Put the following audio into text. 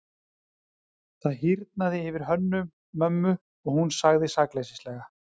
Það hýrnaði yfir Hönnu-Mömmu og hún sagði sakleysislega:-